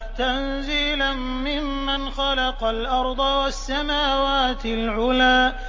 تَنزِيلًا مِّمَّنْ خَلَقَ الْأَرْضَ وَالسَّمَاوَاتِ الْعُلَى